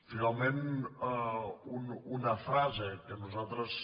finalment una frase que nosaltres